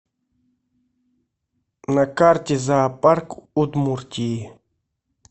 на карте зоопарк удмуртии